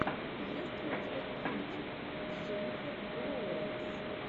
есть ли у тебя кинчик с дженнифер лоуренс